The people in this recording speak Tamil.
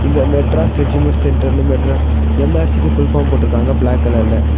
இங்க மெட்ராஸ் ரெஜிமெண்ட் சென்டர்னு மெட்ரு எம்_ஆர்_சி_க்கு ஃபுல் ஃபார்ம் போட்ருக்காங்க ப்ளாக் கலர்ல .